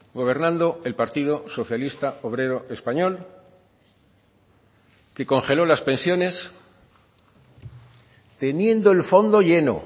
gobernando el partido socialista obrero español que congeló las pensiones teniendo el fondo lleno